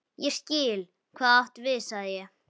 Ég skil, hvað þú átt við sagði ég.